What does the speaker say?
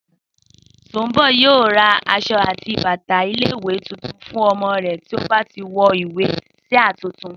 Sùnḿbọ̀ yóò ra aṣọ àti bàtà ilé ìwé tuntun fún ọmọ rẹ̀ bí ó bá ti wọlé sáà tuntun